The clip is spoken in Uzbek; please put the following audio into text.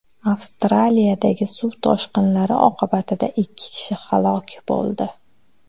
Avstraliyadagi suv toshqinlari oqibatida ikki kishi halok bo‘ldi.